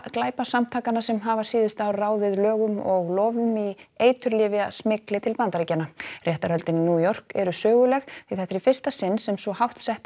glæpasamtakanna sem hafa síðustu ár ráðið lögum og lofum í eiturlyfjasmygli til Bandaríkjanna réttarhöldin í New York eru söguleg því þetta er í fyrsta sinn sem svo hátt settur